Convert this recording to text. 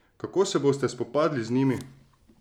Kako se boste spopadli z njimi?